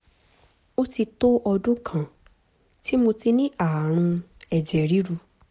ó ti tó ọdún kan tí mo ti ní ààrùn ẹ̀jẹ̀ ríru